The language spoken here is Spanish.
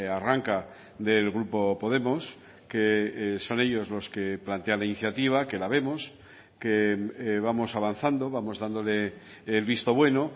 arranca del grupo podemos que son ellos los que plantean la iniciativa que la vemos que vamos avanzando vamos dándole el visto bueno